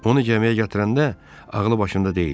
"Onu gəmiyə yatıranda ağlı başında deyildi."